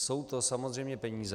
Jsou to samozřejmě peníze.